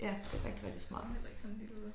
Ja det rigtig rigtig smart